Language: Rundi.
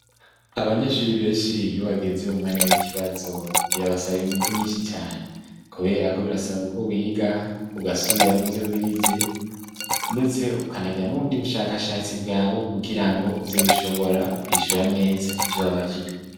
Abanyeshuri benshi yo bageze umwanya w'ikibazo birabasaba inguvu nyinshi cane, kubera ko birasaba ko wiga ugasubiramwo ivyo wize, ndetse ukanagira n'ubundi bushakashatsi bwawe kugira ngo uze gushobora kwishura neza ivyo wabajijwe.